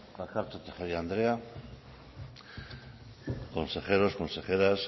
bakartxo tejeria andrea consejeros consejeras